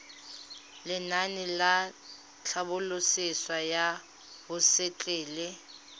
lenaane la tlhabololosewa ya hosetele